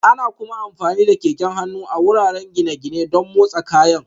Ana kuma amfani da keken hannu a wuraren gine-gine don motsa kayan